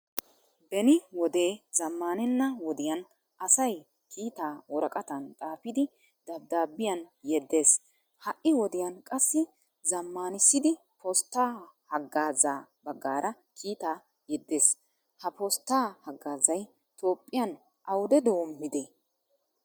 Beni wode zamaanena wodiyan asay kiitaa worqqattan xaafidi dabbidabiyaan yeedees. Hai wodiyan qassi zammanisidi postaa hagaazza baggaara kiitaa yeedees. Ha postaa hagaazzay toophphiyan awude dommide?